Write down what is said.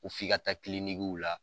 ko f'i ka taa la.